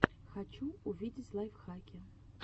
хочу увидеть лайфхаки